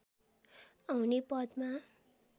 आउने पदमा